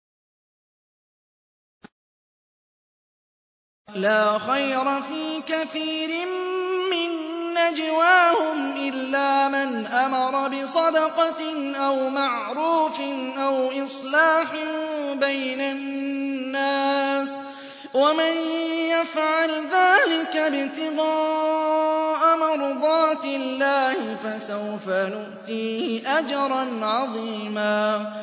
۞ لَّا خَيْرَ فِي كَثِيرٍ مِّن نَّجْوَاهُمْ إِلَّا مَنْ أَمَرَ بِصَدَقَةٍ أَوْ مَعْرُوفٍ أَوْ إِصْلَاحٍ بَيْنَ النَّاسِ ۚ وَمَن يَفْعَلْ ذَٰلِكَ ابْتِغَاءَ مَرْضَاتِ اللَّهِ فَسَوْفَ نُؤْتِيهِ أَجْرًا عَظِيمًا